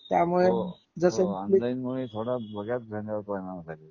जस हो ऑनलाइन मुळे थोडा